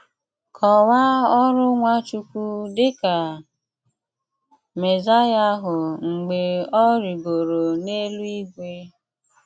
Kọ́waa ọrụ́ Nwáchùkwù ’ dị ka Mèsáíà ahụ̀ mgbè ọ̀ rìgòrò n’èlú-ìgwè.